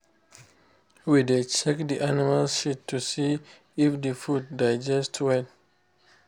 we dey check the animal shit to see if the food digest well